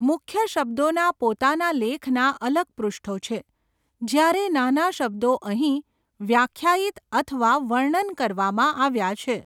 મુખ્ય શબ્દોના પોતાના લેખના અલગ પૃષ્ઠો છે, જ્યારે નાના શબ્દો અહીં વ્યાખ્યાયિત અથવા વર્ણન કરવામાં આવ્યા છે.